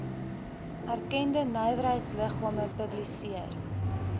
erkende nywerheidsliggame publiseer